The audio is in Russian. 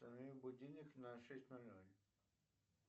установи будильник на шесть ноль ноль